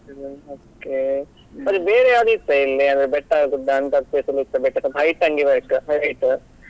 Okay ಮತ್ತೆ ಬೇರೆ ಯಾವ್ದು ಇತ್ತ ಇಲ್ಲಿ ಅಂದ್ರೆ ಬೆಟ್ಟ, ಗುಡ್ಡ ಅಂತದ್ place ಇತ್ತ but ಸ್ವಲ್ಪ height ಹಂಗೆ ಬೇಕ್ .